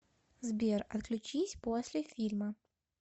сбер отключись после фильма